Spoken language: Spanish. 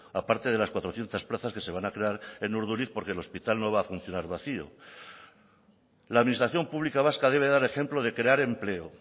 aparte de las cuatrocientos plazas que se van a crear en urduliz porque el hospital no va a funcionar vacío la administración pública vasca debe dar ejemplo de crear empleo